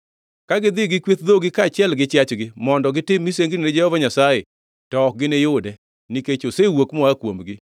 Ka gidhi gi kweth dhogi kaachiel gi chiachgi mondo gitim misengni ni Jehova Nyasaye, to ok giniyude nikech osewuok moa kuomgi.